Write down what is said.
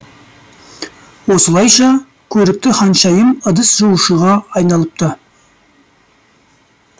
осылайша көрікті ханшайым ыдыс жуушыға айналыпты